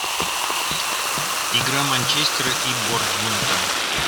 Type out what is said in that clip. игра манчестера и борнмута